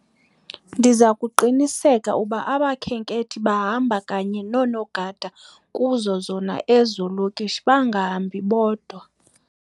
Ndiza kuqinisekisa ukuba abakhenkethi bahamba kanye noonogada kuzo zona ezo lokishi bangahambi bodwa.